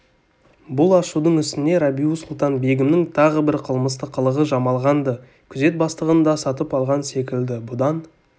бұл ашудың үстіне рабиу-сұлтан-бегімнің тағы бір қылмысты қылығы жамалған-ды күзет бастығын да сатып алған секілді бұдан